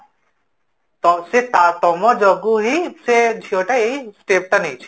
ତ ତମ ଯୋଗୁଁ ହିଁ ସେ ଝିଅଟା ଏଇ step ଟା ନେଇଛି